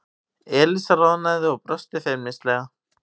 Elísa roðnaði og brosti feimnislega.